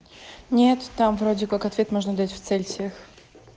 нет там вроде как ответ можно дать в цельсиях